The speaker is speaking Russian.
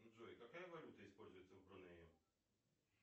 джой какая валюта используется в брунее